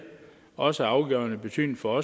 også af afgørende betydning for